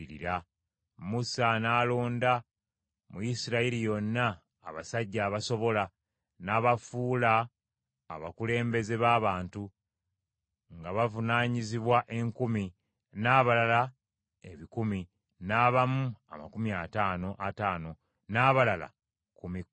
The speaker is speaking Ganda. Musa n’alonda mu Isirayiri yonna abasajja abasobola, n’abafuula abakulembeze b’abantu; nga bavunaanyizibwa enkumi, n’abalala ebikumi, n’abamu amakumi ataano ataano, n’abalala kkumi kkumi.